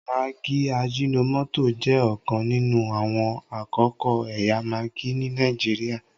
maggi ajinomoto jẹ òkan nínú àwọn akọko ẹyà maggi ní Nàìjíríà